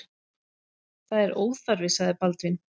Það er óþarfi, sagði Baldvin.